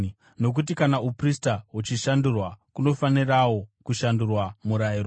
Nokuti kana uprista huchishandurwa, kunofanirawo kushandurwa murayiro.